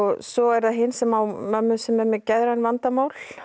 svo er það hin sem á mömmu sem er með geðræn vandamál